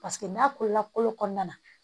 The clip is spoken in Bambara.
Paseke n'a kolola kolo kɔnɔna